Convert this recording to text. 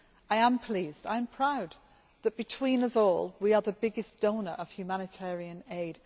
I am pleased and proud, that between us all, we are the biggest donor of humanitarian aid.